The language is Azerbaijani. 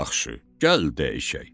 yaxşı, gəl dəyişək.